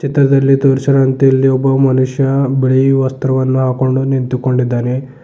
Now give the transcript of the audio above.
ಚಿತ್ರದಲ್ಲಿ ತೋರಿಸಿರುವಂತೆ ಇಲ್ಲಿ ಒಬ್ಬ ಮನುಷ್ಯ ಬಿಳಿ ವಸ್ತ್ರವನ್ನು ಹಾಕೊಂಡು ನಿಂತುಕೊಂಡಿದ್ದಾನೆ.